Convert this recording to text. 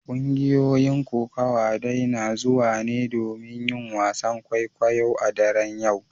Kungiyoyin kokawa dai na zuwa ne domin yin wasan kwaikwayo a daren yau.